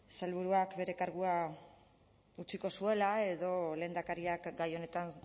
sailburuak bere kargua utziko zuela edo lehendakariak gai honetan